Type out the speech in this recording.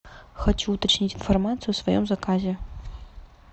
хочу уточнить информацию о своем заказе